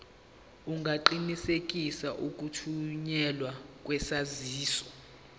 ungaqinisekisa ukuthunyelwa kwesaziso